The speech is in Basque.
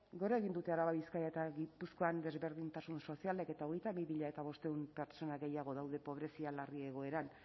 gora egin dute araba bizkaia eta gipuzkoan desberdintasun sozialek eta hogeita bi mila bostehun pertsona gehiago daude pobrezia larri egoeran